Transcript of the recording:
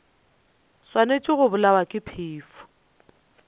swanetše go bolawa ke phefo